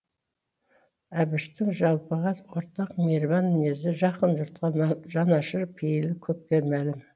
әбіштің жалпыға ортақ мейірбан мінезі жақын жұртқа жанашыр пейілі көпке мәлім